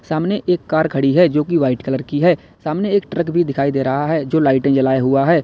सामने एक कार खड़ी है जोकि वाइट कलर की है सामने एक ट्रक भी दिखाई दे रहा है जो लाइटे जलाए हुआ है।